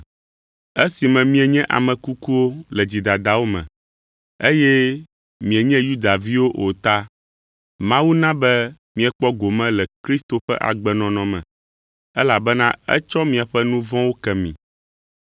Esime mienye ame kukuwo le dzidadawo me, eye mienye Yudaviwo o ta, Mawu na be miekpɔ gome le Kristo ƒe agbenɔnɔ me, elabena etsɔ miaƒe nu vɔ̃wo ke mi,